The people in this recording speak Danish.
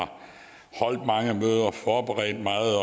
har holdt mange møder forberedt meget og